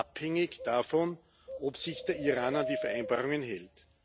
abhängig davon, ob sich der Iran an die Vereinbarungen hält.